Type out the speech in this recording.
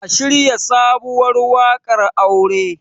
a shirya sabuwar wakar aure!